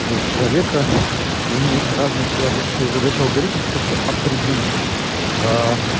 человека ему нужно разный человек и задачи алгоритмов это все определить аа